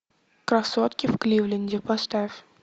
красотки в кливленде поставь